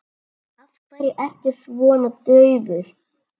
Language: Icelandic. Af hverju ertu svona daufur?